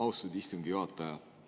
Austatud istungi juhataja!